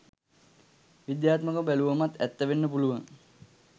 විද්‍යාත්මකව බැලුවමත් ඇත්ත වෙන්න පුළුවන්.